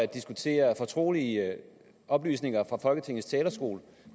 diskutere fortrolige oplysninger fra folketingets talerstol